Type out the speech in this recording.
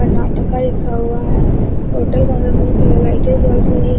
कर्नाटका लिखा हुआ है होटल के अंदर बहुत सारे लाइट चल रही है।